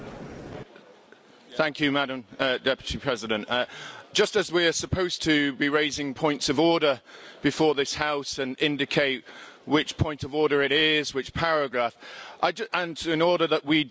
Madam President, just as we are supposed to be raising points of order before this House and indicate which point of order it is, which paragraph, and in order that we don't delay proceedings.